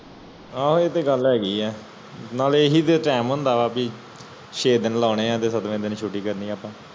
ਆ ਉਹ ਤੇ ਗੱਲ ਹੇਗੀ ਆ ਨਾਲੇ ਇਹ ਹੀ ਤੇ time ਭੀ ਸ਼ੇ ਦਿਨ ਲਾਣੇ ਛੁਟਿਆ ਦਿਨ ਛੁੱਟੀ ਕਰਨੀ ਆ ਅੱਪਾ